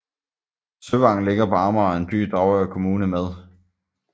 Søvang ligger på Amager og er en by i Dragør Kommune med